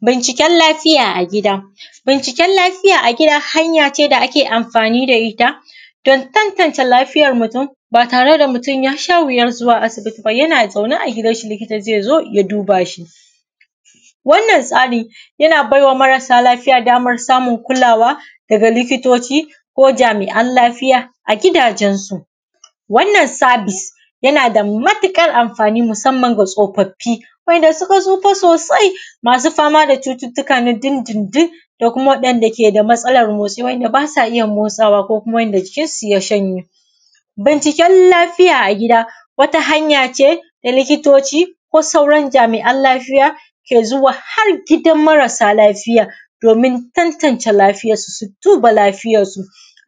Binciken lafiya a gida, Binciken lafiya a gida hanya ce da ake amfani da ita, don tantance lafiyar mutum ba tare da mutum ya sha wuyar zuwa asaibi ba, yana zaune a gidan shi likita zai zo ya duba shi. Wannan tsari yana baiwa marasa lafiya damar samun kulawa, daga likitoci, ko jami’an lafiya a gidajensu. Wanan sabis yana da matuƙar amfani, musamman ga tsafaffi wa’aynda suka tsufa soasi, masu fama da cututtuka na dindindin, da kuma waɗanda suke da matsalar motsi, waɗanda ba sa iya motsawa ko kuma waɗanda jikinsu ya shaye. Binciken lafiya a gida wata hanya ce da likitoci ko sauran jami’an lafiya, ke zuwa har gidan marasa lafiya domin tantance lafuyarsu, su duba lafiyarsu.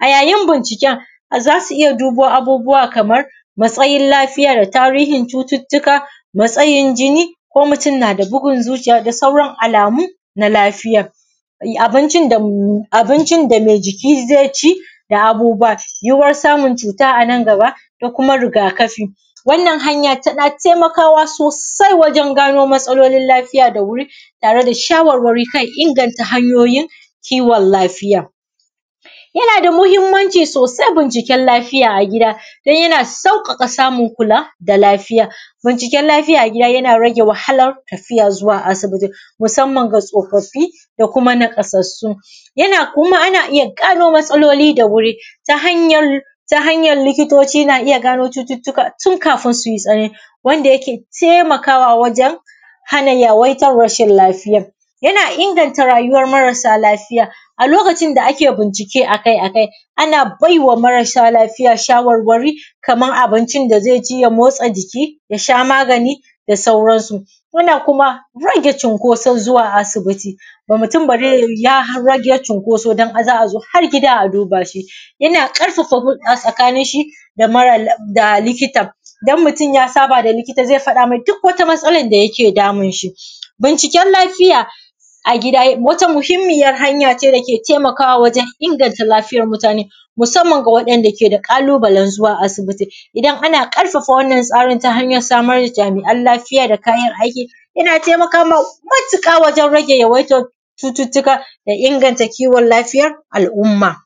A yayin binciken za su iya dubo abubuwa kamarmatsayin lafiya da tarihin cututtuka, matsayin jinni ko mutum na da bugun zuciya da sauran alamu na lafiya. Abincin da mai jiki zai ci, da abubuwa, yuwuwar samun cuta a nan gaba da kuma rigafi. Wannan hanya tana taimakawa sosai wajen gano matsalolin lafiya da wuri, tare da shawarwari kan inganta hanyoyin kiwon lafiya. Yana da muhimmanci sosai yin binciken lafiya a gida, dan yana sauƙaƙa samun kula da lafiaya. Binciken lafiya a gida yana rage wahalar tafiya zuwa asibiti, musamman ga tsofaffi da kuma naƙasassu, yana kuma ana iya gano matsaloli da wuri. Ta hanyar ta hanyar likitoci na gano matsaloli da wuri, tun kafin sui tsanani wanda yake taimakawa wajen, hana yawaitan rashin lafiya. Yana inganta marasa lafiya. A lokacin da ake bince a kai a kai ana bai wa mara sa lafiya shawarwari kamar abincin da zai ci ya motsa jiki, ya sha magani da sauransu, yana kuma rage cunkoson zuwa asibiti, ga mutum ya rage cunkosao za a zo har gida a duba shi. Yana ƙarfafa hulɗa tsakanin shi da likitan. Idan mutum ya saba da likita zai gaya masa duk wata matsala da ke damun shi. Binciken lafiya a gida wata muhimmiyan hanya ce dake inganta lafiyar mutane, musamman ga wanda ke da ƙalubalen zuwa asibiti, idan ana ƙafafa wannan tsarin ta hanyar samar da jami’an lafiya da kayan aiki, yana taimakawa matuƙa da yawaitar cutattuka da inganta kiwon lafiya al’uuma.